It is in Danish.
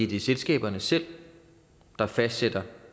det er selskaberne selv der fastsætter